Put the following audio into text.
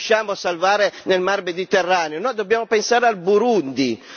Perché non pensiamo prima a quelli che non riusciamo a salvare nel Mar Mediterraneo.